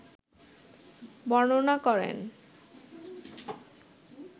বর্ণনা করেন